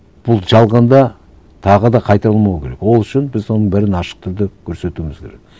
бұл жалғанда тағы да қайталамау керек ол үшін біз оның бәрін ашық түрде көрсетуіміз керек